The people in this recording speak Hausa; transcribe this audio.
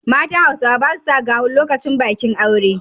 Matan Hausawa ba sa sa gawon lokacin bakin aure.